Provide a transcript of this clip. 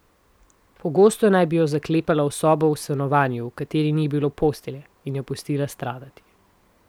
Pogosto naj bi jo zaklepala v sobo v stanovanju, v kateri ni bilo postelje, in jo pustila stradati.